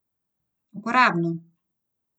Uporabno!